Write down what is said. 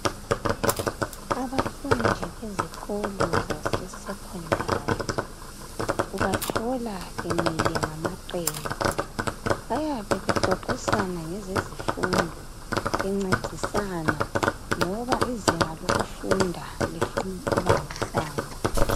Abafundi besikolo sezinga eliphezulu ubathola bemile ngamaqembu bayabe bexoxisana mayelana lezifundo bencedisana ngoba izinga lokufunda lifunda ukubambisana